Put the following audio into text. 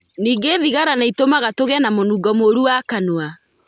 Ningĩ thigara nĩ ĩtũmaga tũgĩe na mũnungo mũũru wa kanua.